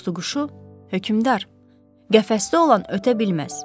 Tutuquşu: Hökmdar, qəfəsdə olan ötə bilməz.